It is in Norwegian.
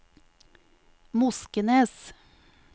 Moskenes